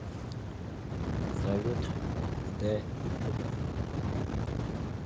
салют дэ ютуб